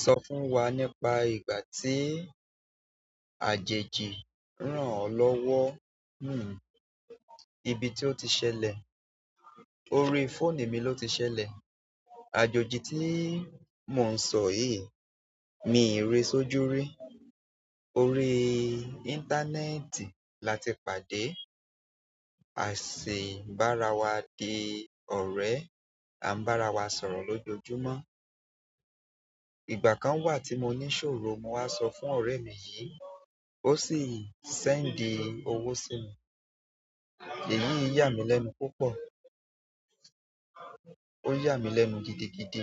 Sọ fún wa nípa ìgbà tí àjèjì rán ọ lọ́wọ́. Ibi tí ó ti ṣ'ẹlẹ̀, orí fóònù mi ni ó ti ṣ'ẹlẹ̀. Àjòjì tí mò ń sọ yìí, mi ì ri sójú rí. Orí íńtánẹ́ẹ̀tì la ti pàdé. A sì bára wa di ọ̀rẹ́, à ń bára wa sọ̀rọ̀ lójoojúmọ́. Ìgbà kan wà tí mo ní ìṣòro, mo wá sọ fún ọ̀rẹ́ mi yìí, ó sì séǹdì owó sí mi. Èyí yà mí lẹ́nu púpọ̀. Ó yà mí lẹ́nu gidigidi